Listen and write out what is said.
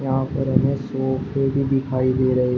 यहां पर हमें सोफे भी दिखाई दे रहे--